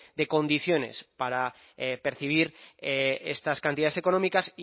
de condiciones para percibir estas cantidades económicas